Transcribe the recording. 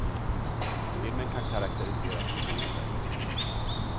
Filmen kan karaktäriseras på många sätt.